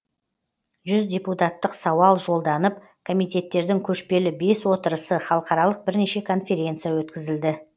жүз депутаттық сауал жолданып комитеттердің көшпелі бес отырысы халықаралық бірнеше конференция өткізілді